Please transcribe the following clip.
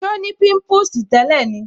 So ni pimpusi tẹ́lẹ̀ ni